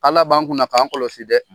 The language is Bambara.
Ala b'an kunna na k'an kɔlɔsi dɛ.